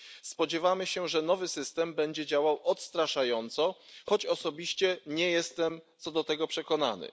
Spodziewamy się, że nowy system będzie działał odstraszająco, choć osobiście nie jestem co do tego przekonany.